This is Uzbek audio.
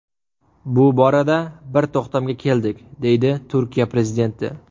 Bu borada bir to‘xtamga keldik”, deydi Turkiya prezidenti.